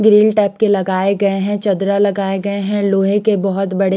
grill type के लगाये गये है चद्रा लगाये गये है लोहे के बोहोत बड़े --